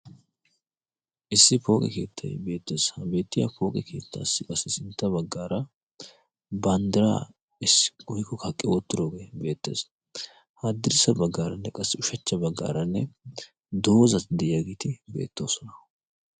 issi pooqe keettai beettees ha beettiyaa pooqe keettaassi qassi sintta baggaara banddiraa issi guhiko kaqqi oottiroogee beettees ha addirissa baggaaranne qassi ushachcha baggaaranne doozatti de'iyaagiiti beettoosona